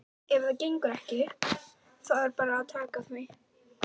Ef það gengur ekki þá er bara að taka því.